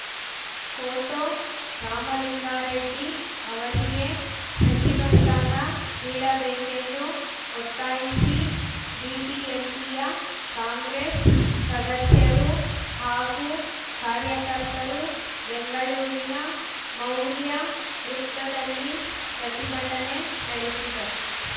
photo Ramalinga Reddy ಅವರಿಗೆ ಸಚಿವ ಸ್ಥಾನ ನೀಡಬೇಕೆಂದು ಒತ್ತಾಯಿಸಿ ಬಿಬಿಎಂಪಿಯ ಕಾಂಗ್ರೆಸ್‌ ಸದಸ್ಯರು ಹಾಗೂ ಕಾರ್ಯಕರ್ತರು ಬೆಂಗಳೂರಿನ ಮೌರ್ಯ ವೃತ್ತದಲ್ಲಿ ಪ್ರತಿಭಟನೆ ನಡೆಸಿದರು